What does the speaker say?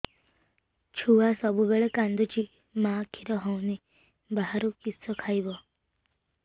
ଛୁଆ ସବୁବେଳେ କାନ୍ଦୁଚି ମା ଖିର ହଉନି ବାହାରୁ କିଷ ଖାଇବ